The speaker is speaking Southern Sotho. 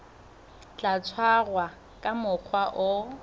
tla tshwarwa ka mokgwa o